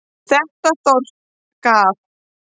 Þetta þorp gaf